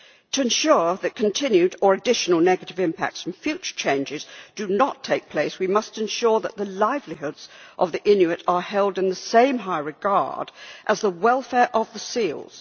To ensure that continued or additional negative impacts from future changes do not take place, we must ensure that the livelihoods of the Inuit are held in the same high regard as the welfare of the seals.